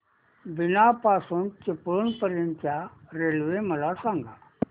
बीना पासून चिपळूण पर्यंत च्या रेल्वे मला सांगा